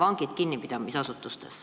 – vangid kinnipidamisasutustes.